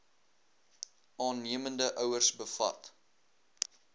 aannemende ouers bevat